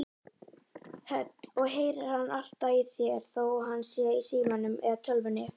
Hödd: Og heyrir hann alltaf í þér þó hann sé í símanum eða tölvunni?